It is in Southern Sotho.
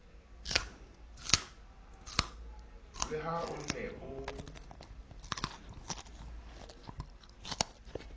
le ha o ne o